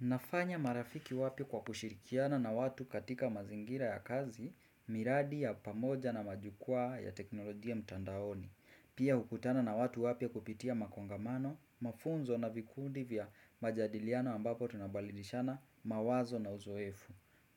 Nafanya marafiki wapi kwa kushirikiana na watu katika mazingira ya kazi, miradi ya pamoja na majukwaa ya teknolojia mtandaoni. Pia hukutana na watu wapya kupitia makongamano, mafunzo na vikundi vya majadiliano ambapo tunabalidishana mawazo na uzoefu.